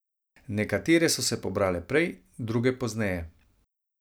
Nekatere so se pobrale prej, druge pozneje.